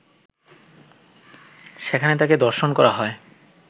সেখানে তাকে ধর্ষণ করা হয়